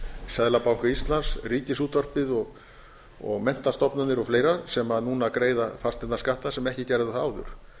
seðlabanka íslands ríkisútvarpið menntastofnanir og fleira sem núna greiða fasteignaskatta sem ekki gerðu það áður